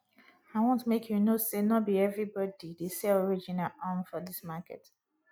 i want make you know sey no be everybodi dey sell original um for dis market